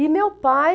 E meu pai...